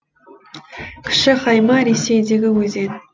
кіші хайма ресейдегі өзен